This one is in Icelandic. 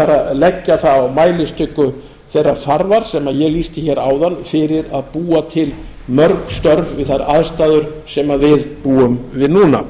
að leggja það á mælistiku þeirrar þarfar sem ég lýti áðan fyrir að búa til mörg störf við þær aðstæður sem við búum við núna